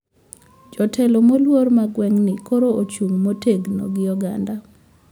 Jotelo moluor ma gweng` ni koro ochung` motegno gi oganda